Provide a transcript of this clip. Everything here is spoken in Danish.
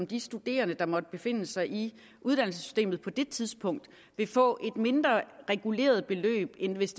de studerende der måtte befinde sig i uddannelsessystemet på det tidspunkt vil få et mindre reguleret beløb end hvis